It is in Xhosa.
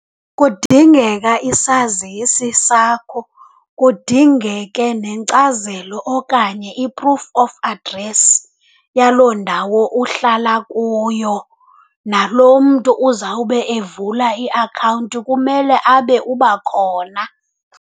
Kudingeka isazisi sakho, kudingeke nenkcazelo okanye i-proof of address yaloo ndawo uhlala kuyo, nalo mntu uzawube evula iakhawunti kumele abe uba khona.